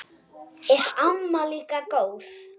Er amma líka góð?